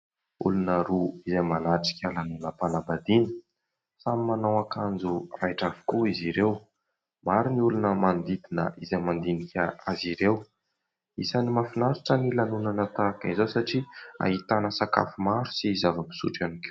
Olona roa izay manatrika lanonam- panambadiana samy manao akanjo raitra avokoa izy ireo. Maro ny olona manodidina izay mandinika azy ireo, isan'ny mahafinaritra ny lanonana tahaka izao satria ahitana sakafo maro sy zava- pisotro iany koa.